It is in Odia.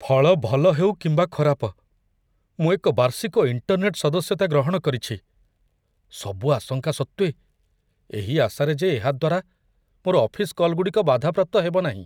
ଫଳ ଭଲ ହେଉ କିମ୍ବା ଖରାପ, ମୁଁ ଏକ ବାର୍ଷିକ ଇଣ୍ଟରନେଟ୍ ସଦସ୍ୟତା ଗ୍ରହଣ କରିଛି, ସବୁ ଆଶଙ୍କା ସତ୍ତ୍ୱେ ଏହି ଆଶାରେ ଯେ ଏହା ଦ୍ଵାରା ମୋର ଅଫିସ୍ କଲ୍‌ଗୁଡ଼ିକ ବାଧାପ୍ରାପ୍ତ ହେବନାହିଁ।